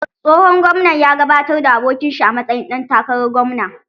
Tsohon gwamnan ya gabatar da abokin shi a matsayin ɗan takarar gwamna.